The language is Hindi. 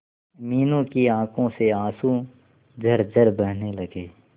मीनू की आंखों से आंसू झरझर बहने लगे